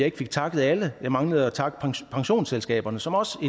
ikke fik takket alle jeg manglede at takke pensionsselskaberne som også